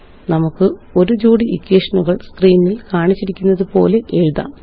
നമുക്ക് ഒരു ജോടി ഇക്വേഷനുകള് സ്ക്രീനില് കാണിച്ചിരിക്കുന്നതുപോലെ എഴുതാം